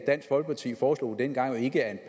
dansk folkeparti foreslog dengang ikke